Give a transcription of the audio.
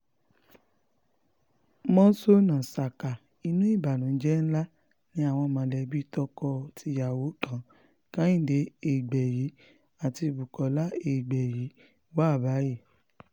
mọ́ńsónà saka inú ìbànújẹ́ ńlá ni àwọn mọ̀lẹ́bí tọkọ tíyàwó kan kehinde egbẹ́yí àti bukola egbẹ́yí wà báyìí